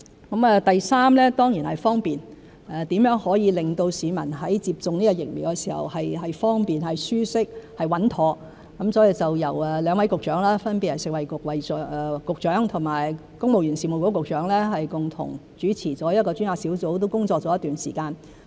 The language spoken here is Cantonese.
第三，是方便性，如何可以令市民在接種疫苗時感到方便、舒適、穩妥，所以由兩位局長，分別是食物及衞生局局長和公務員事務局局長共同主持一個專責小組，小組亦工作了一段時間。